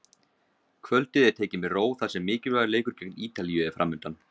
Kvöldið er tekið með ró þar sem mikilvægur leikur gegn Ítalíu er framundan.